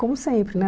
Como sempre, né?